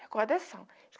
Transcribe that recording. Recordação.